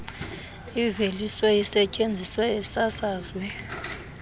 iveliswe isetyenziswe isasazwe